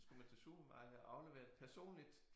Så skulle man til supermarkedet og aflevere det personligt